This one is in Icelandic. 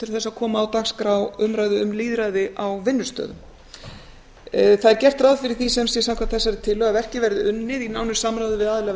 til þess að koma á dagskrá umræðu um lýðræði á vinnustöðum það er gert ráð fyrir því sem sé samkvæmt þessari tillögu að verkið verði unnið í nánu samráði við aðila